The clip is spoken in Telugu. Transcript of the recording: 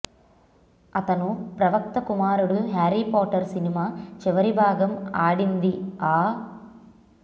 అతను ప్రవక్త కుమారుడు హ్యారీ పాటర్ సినిమా చివరి భాగం ఆడింది ఆ